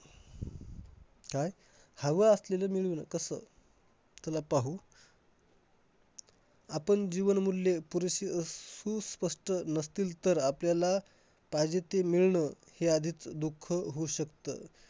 काय हवं असलेलं मिळून कसं? चला पाहू. आपण जीवनमूल्य पुरेशी अह सु~ स्पष्ट नसतील तर आपल्याला पाहिजे ते मिळणं हे आधीच दुःख होऊ शकतं.